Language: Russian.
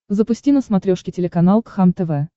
запусти на смотрешке телеканал кхлм тв